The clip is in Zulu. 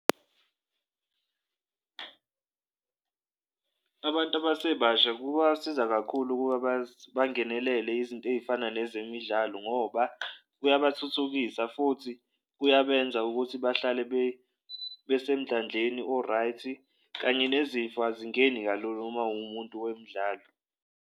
Abantu abasebasha kubasiza kakhulu ukuba bangenelele izinto ey'fana nezemidlalo ngoba kungabathuthukisa futhi kuyabenza ukuthi bahlale besemndlandleni o-right-i, kanye nezifo azingeni kulula uma uwumuntu wemidlalo.